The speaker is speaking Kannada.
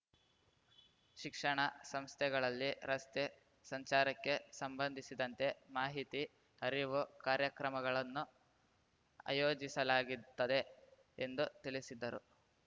ಶಿಕ್ಷಣ ಸಂಸ್ಥೆಗಳಲ್ಲಿ ರಸ್ತೆ ಸಂಚಾರಕ್ಕೆ ಸಂಬಂಧಿಸಿದಂತೆ ಮಾಹಿತಿ ಅರಿವು ಕಾರ್ಯಕ್ರಮಗಳನ್ನು ಆಯೋಜಿಸಲಾಗುತ್ತದೆ ಎಂದು ತಿಳಿಸಿದರು